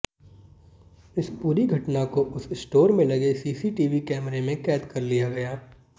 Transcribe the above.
इस पूरी घटना को उस स्टोर में लगे सीसीटीवी कैमरे में कैद कर लिया गया